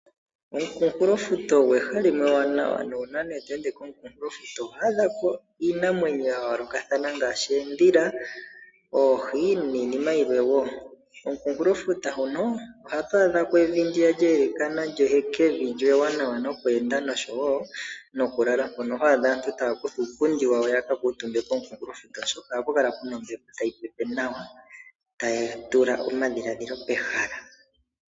Komukunkulo futa olyo eha limwe ewanawa. Nuuna nee to ende komukunkulo futa oto mono iinamwenyo yayoloka ngaashi oodhila, oohi niinima yilwe wo. Kimukunkulo futa hono oha tu adhako evi ndi lye wlekana lyehekevi lyo ewanawa noku enda noshowo noku lala. Mono ho adha aantu taya kutha uupundi wayo yaka kuuntumbe komukunkulo futa oshoka ohaku kala kuna ombepo tayi pepe nawa. Taya tula omadhiladhilo pehala.